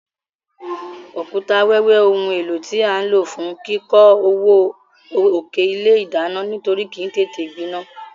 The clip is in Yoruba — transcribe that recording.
Òkúta wẹ́wẹ́ oun éló tí a n ló fún kíkó ọwọ́ òkè ilé ìdánán nítorí kìí tété gbinán